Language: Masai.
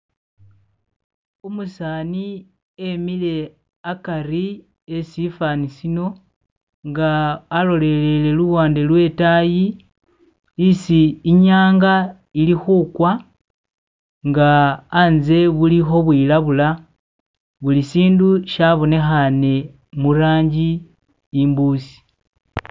umusani emile akari wesifani sino nga alolele luwande lwetayi isi inyanga ili hukwa nga anze buluho bwilabula buli sindu shabonehane mulanji imbusi